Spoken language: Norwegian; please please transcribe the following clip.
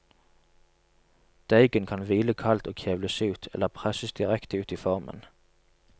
Deigen kan hvile kaldt og kjevles ut, eller presses direkte ut i formen.